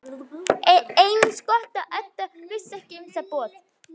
Eins gott að Edda vissi ekki um það boð.